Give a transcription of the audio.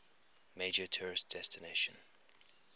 major tourist destination